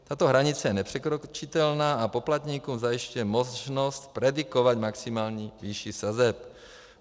Tato hranice je nepřekročitelná a poplatníkům zajišťuje možnost predikovat maximální výši sazeb.